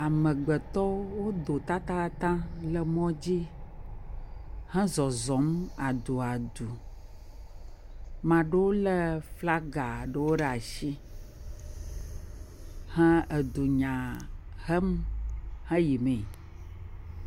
Amegbetɔwo wodo tatataŋ le mɔdzi hezɔzɔm aduadu. Ame ɖewo lé flaga ɖewo ɖe asi he edunya hem heyimee.